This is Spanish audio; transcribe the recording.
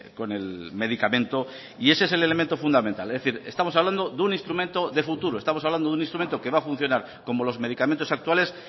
con el medicamento y ese es el elemento fundamental es decir estamos hablando de un instrumento de futuro estamos hablando de un instrumento que va a funcionar como los medicamentos actuales